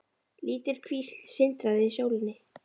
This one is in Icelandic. Lítil kvísl sindraði í sólinni.